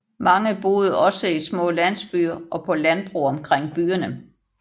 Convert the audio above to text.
Mange boede også i små landsbyer og på landbrug omkring byerne